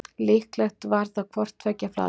Líklega var það hvort tveggja flatbrauð.